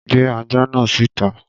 Gbé ajá náà síta.